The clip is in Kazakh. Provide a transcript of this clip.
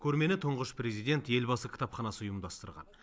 көрмені тұңғыш президент елбасы кітапханасы ұйымдастырған